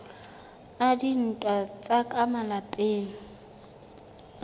a dintwa tsa ka malapeng